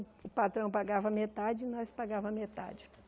O patrão pagava metade e nós pagávamos metade.